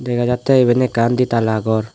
dega jatte iben ekkan ditala gawr.